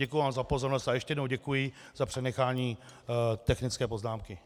Děkuji vám za pozornost a ještě jednou děkuji za přenechání technické poznámky.